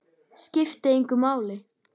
Skipti engu máli.